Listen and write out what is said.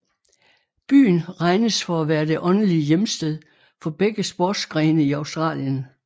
Byen regnes for at være det åndelige hjemsted for begge sportsgrene i Australien